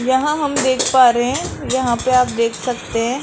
यहां हम देख पा रहे हैं यहां पे आप देख सकते हैं।